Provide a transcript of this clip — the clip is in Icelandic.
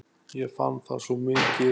Ég fann það svo mikið.